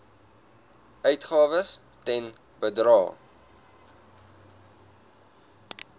uitgawes ten bedrae